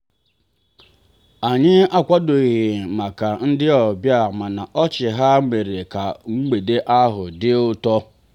anyị akwadoghị maka ndị ọbịa mana ọchị ha mere ka mgbede ahụ dị ụtọ.